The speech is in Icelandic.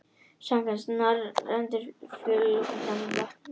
Samkvæmt norrænni þjóðtrú lifur nykurinn í vötnum.